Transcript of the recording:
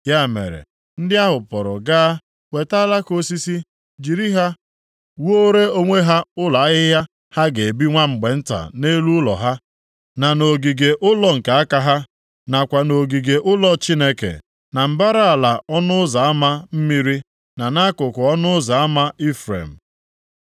Ya mere, ndị ahụ pụrụ gaa weta alaka osisi, jiri ha wuore onwe ha ụlọ ahịhịa ha ga-ebi nwa mgbe nta nʼelu ụlọ ha, na nʼogige ụlọ nke aka ha, nakwa nʼogige ụlọ Chineke, na mbara ala Ọnụ Ụzọ Ama Mmiri, na nʼakụkụ Ọnụ Ụzọ Ama Ifrem.